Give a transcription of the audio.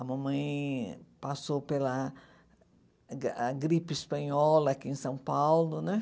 A mamãe passou pela a gripe espanhola aqui em São Paulo, né?